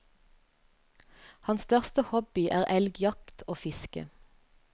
Hans største hobby er elgjakt og fiske.